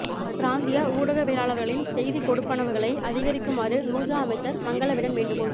பிராந்திய ஊடகவியலாளர்களின் செய்திக் கொடுப்பனவுகளை அதிகரிக்குமாறு நுஜா அமைச்சர் மங்களவிடம் வேண்டுகோள்